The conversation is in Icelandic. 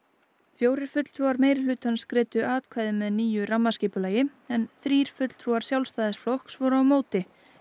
fjórir fulltrúar meirihlutans greiddu atkvæði með nýju rammaskipulagi en þrír fulltrúar Sjálfstæðisflokks voru á móti